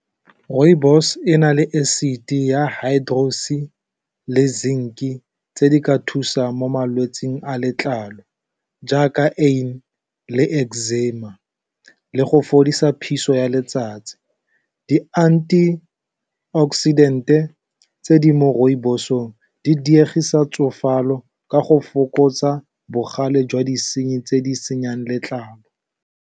rooibos ena le acid ya hydro's-e le zinc-e tse di ka thusang mo malwetsing a letlalo, jaaka acne le exzima le go fodisa phuso ya letsatsi di-anti oxidant-e tse di mo rooibos-ong di diegise tsofala go ka go fokotsa bogale jwa disenyi tse di senyang letlalo.